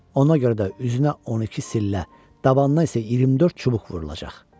Ona görə də üzünə 12 sillə, dabana isə 24 çubuq vurulacaq.